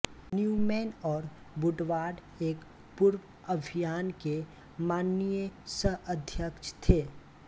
Newman और Woodward एक पूर्व अभियान के माननीय सहअध्यक्ष थे